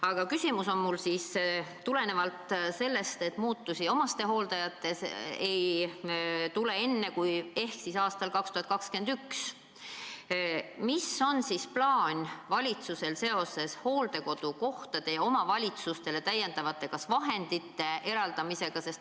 Aga küsimus on mul siis tulenevalt sellest, et muutusi omastehooldajate jaoks ei tule enne, kui ehk aastal 2021. Mis on valitsuse plaan seoses hooldekodukohtade ja omavalitsustele täiendavate vahendite eraldamisega?